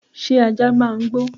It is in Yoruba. Sé ajá máa ń gbó